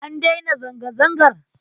An daina zanga-zangar?